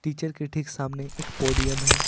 Teacher के ठीक सामने एक पोडियम है।